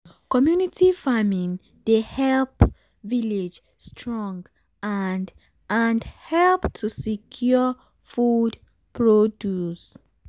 community farming dey help village strong and and help to secure food produce.